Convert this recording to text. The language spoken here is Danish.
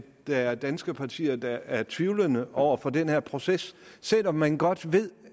der er danske partier der er tvivlende over for den her proces selv om man godt ved